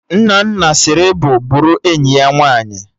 Nnanna sịrị bụ bụrụ enyi ya nwaanyị